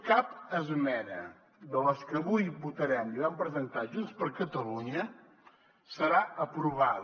cap esmena de les que avui votarem i vam presentar junts per catalunya serà aprovada